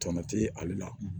Tɔnɔ tɛ ale la